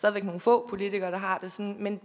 er nogle få politikere der har det sådan men